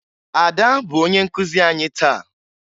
Ada bụ onye nkụzi anyị taa